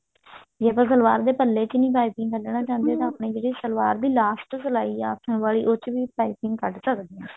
ਜੇ ਆਪਾਂ ਸਲਵਾਰ ਦੇ ਪੱਲੇ ਚੋਂ ਪਾਈਪਿੰਨ ਨਹੀਂ ਕੱਢਣਾ ਚਾਹੁੰਦੇ ਤਾਂ ਆਪਣੇ ਜਿਹੜੇ ਸਲਵਾਰ ਦੀ last ਸਲਾਈ ਆ ਆਸਣ ਵਾਲੀ ਉਹ ਚ ਵੀ ਪਾਈਪਿੰਨ ਕੱਢ ਸਕਦੇ ਹਾਂ